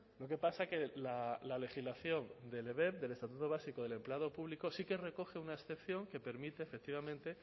lo que pasa que la legislación del ebep del estatuto básico del empleado público sí que recoge una excepción que permite efectivamente